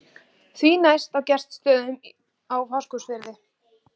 Því næst á Gestsstöðum í Fáskrúðsfirði.